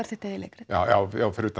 þitt eigið leikrit já